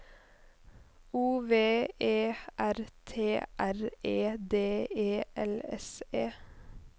O V E R T R E D E L S E